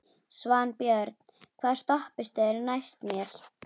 Svanbjörn, hvaða stoppistöð er næst mér?